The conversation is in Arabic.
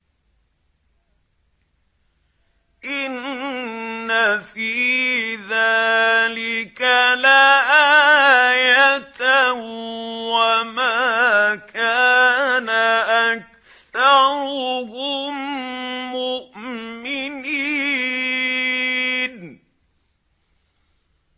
إِنَّ فِي ذَٰلِكَ لَآيَةً ۖ وَمَا كَانَ أَكْثَرُهُم مُّؤْمِنِينَ